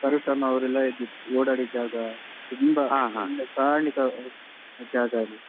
ಪಾರ್ವತಮ್ಮ ಅವ್ರೆಲ್ಲಾ ಇದ್ದಿದ್ ಓಡಾಡಿದ್ ಜಾಗ ತುಂಬ ತುಂಬ ಕಾರ್ಣಿಕ ಆಗುವ ಜಾಗ ಅದು.